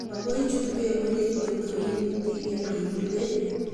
magoi ichut beek orit kotko inetigei ibire beek